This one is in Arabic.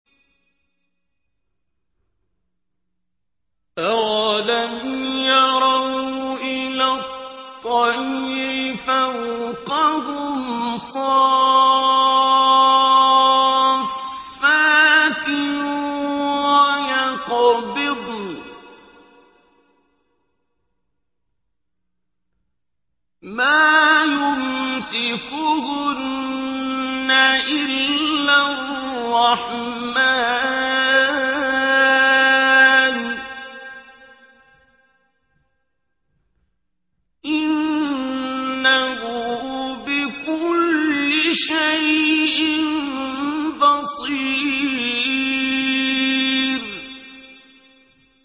أَوَلَمْ يَرَوْا إِلَى الطَّيْرِ فَوْقَهُمْ صَافَّاتٍ وَيَقْبِضْنَ ۚ مَا يُمْسِكُهُنَّ إِلَّا الرَّحْمَٰنُ ۚ إِنَّهُ بِكُلِّ شَيْءٍ بَصِيرٌ